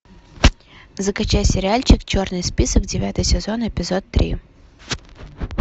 закачай сериальчик черный список девятый сезон эпизод три